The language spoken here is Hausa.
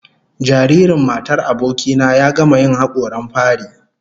Jaririn matar aboki na ya gama yin hakoran fari